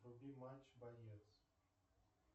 вруби матч боец